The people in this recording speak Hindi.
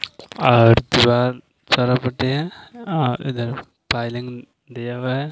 और दिवार दिया हुआ है।